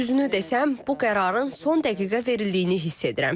Düzünü desəm, bu qərarın son dəqiqə verildiyini hiss edirəm.